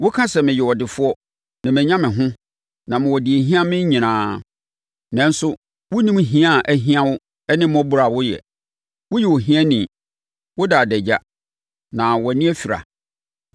Woka sɛ, ‘meyɛ ɔdefoɔ na manya me ho na mewɔ deɛ ɛhia me nyinaa.’ Nanso, wonnim hia a ahia wo ne mmɔborɔ a woyɛ. Woyɛ ohiani. Woda adagya, na wʼani afira.